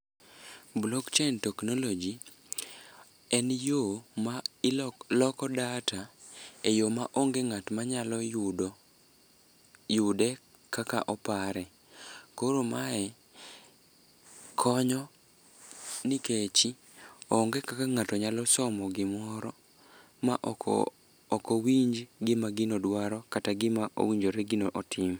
Blockchain technology en yo maloko data e yo maonge ng'at manyalo yude kaka opare, koro mae konyo nikechi onge kaka ng'ato nyalo somo gimoro ma ok owinj gima gino dwaro kata gima owinjore gino otim.